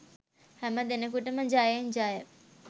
හැමදෙනෙකුටම ජයෙන් ජය